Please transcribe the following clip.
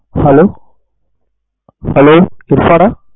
hello hello Irfan